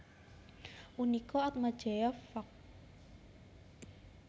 Unika Atmajaya Fak